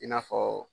I n'a fɔ